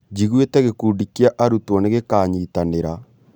Njigwĩte gĩkundi kĩa arutwo nĩ gĩkanyitanĩra